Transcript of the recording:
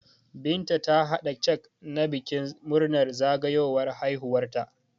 Binta ta hada cak na bikin murnar zagawowar haihuwar ta